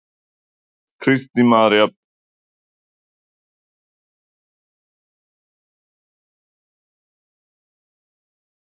Kristín María Birgisdóttir: Og þið hafið aldrei fengið neitt af þessum milljónum til baka?